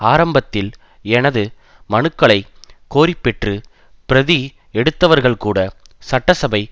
ஆரம்பத்தில் எனது மனுக்களை கோரிப்பெற்று பிரதி எடுத்தவர்கள்கூட சட்டசபை